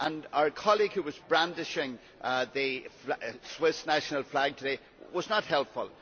Our colleague who was brandishing the Swiss national flag today was not helpful.